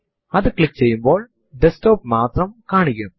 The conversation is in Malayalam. എൽഎസ് കമാൻഡ് ടൈപ്പ് ചെയ്തു എന്റർ അമർത്തുക